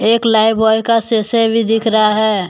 एक Lifebuoy का शीशी भी दिख रहा है।